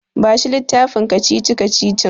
Bashi littafin kacici-kacicicin.